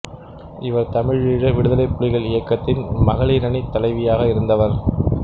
இவர் தமிழீழ விடுதலைப் புலிகள் இயக்கத்தின் மகளிரணித் தலைவியாக இருந்தவர்